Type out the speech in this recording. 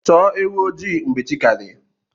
Chọọ ewu ojii mgbe chi ka di.